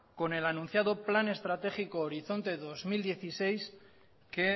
con el anunciado plan estratégico horizonte dos mil dieciséis que